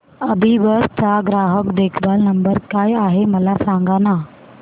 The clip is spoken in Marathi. अभिबस चा ग्राहक देखभाल नंबर काय आहे मला सांगाना